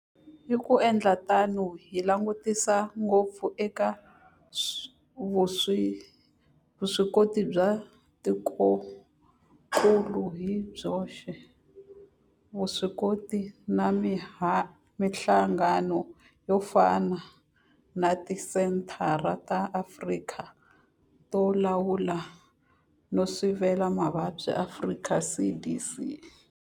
Hi ku endla tano hi langutisa ngopfu eka vuswikoti bya tikokulu hi byoxe, vuswikoti na mihlangano yo fana na Tisenthara ta Afrika to Lawula no Sivela Mavabyi, Afrika CDC.